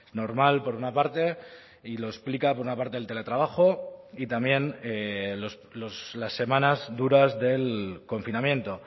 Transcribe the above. normal por una parte y lo explica por una parte el teletrabajo y también las semanas duras del confinamiento